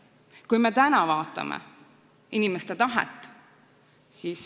Me vaatame täna, milline on inimeste tahe.